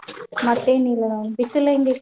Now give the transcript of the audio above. ಮತ್ತೇನಿಲ್ಲಾ ನೋಡ್ ಬಿಸಿಲ್ ಹೆಂಗೈತಿ?